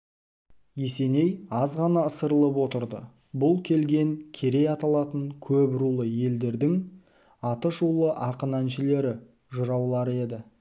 есеней аз ғана ысырылып отырды бұл келген керей аталатын көп рулы елдердің аты шулы ақын-әншілері жыраулары еді